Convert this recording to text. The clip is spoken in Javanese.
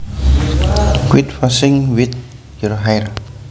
Quit fussing with your hair